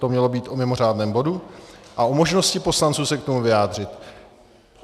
To mělo být o mimořádném bodu a o možnosti poslanců se k tomu vyjádřit.